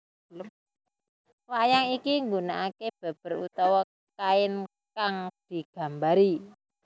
Wayang iki nggunaake beber utawa kain kang digambari